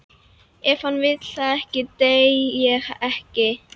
Ef hann vill það ekki, dey ég ekki.